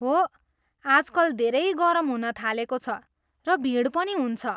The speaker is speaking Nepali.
हो, आजकल धेरै गरम हुन थालेको छ र भिड पनि हुन्छ।